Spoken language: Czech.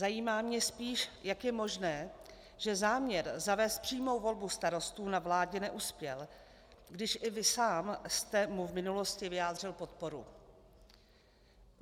Zajímá mě spíš, jak je možné, že záměr zavést přímou volbu starostů na vládě neuspěl, když i vy sám jste mu v minulosti vyjádřil podporu.